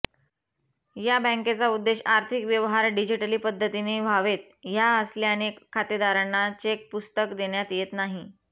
या बँकेचा उद्देश आर्थिक व्यवहार डिजिटली पद्धतीने व्हावेत ह्या असल्याने खातेदारांना चेकपुस्तक देण्यात येत नाही